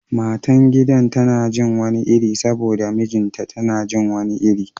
Matan gidan tana jin wani iri saboda mijinta tana jin wani iri